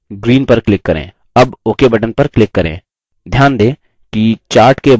अब ok button पर click करें